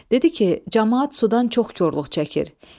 Dedi ki, camaat sudan çox korluq çəkir.